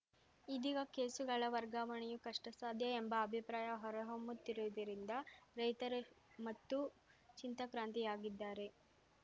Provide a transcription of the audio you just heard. ಇದೀಗ ಕೇಸುಗಳ ವರ್ಗಾವಣೆಯೂ ಕಷ್ಟಸಾಧ್ಯ ಎಂಬ ಅಭಿಪ್ರಾಯ ಹೊರಹೊಮ್ಮುತ್ತಿರುವುದರಿಂದ ರೈತರು ಮತ್ತೂ ಚಿಂತಾಕ್ರಾಂತಿಯಾಗಿದ್ದಾರೆ